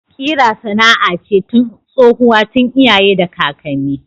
Kira sana'a ce tsohuwa tun iyaye da kakanni.